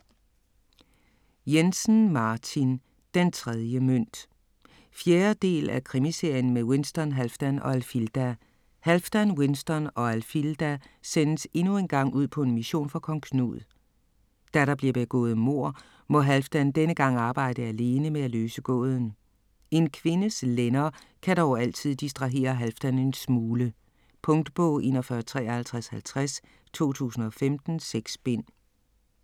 Jensen, Martin: Den tredje mønt 4. del af Krimiserien med Winston, Halfdan og Alfilda. Halfdan, Winston og Alfilda sendes endnu engang ud på en mission for Kong Knud. Da der bliver begået et mord, må Halfdan denne gang arbejde alene med at løse gåden. En kvindes lænder kan dog altid distrahere Halfdan en smule. Punktbog 415350 2015. 6 bind.